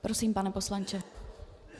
Prosím, pane poslanče.